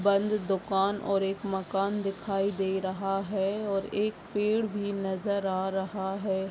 बंद दुकान और एक मकान दिखाई दे रहा है और एक पेड़ भी नजर आ रहा है।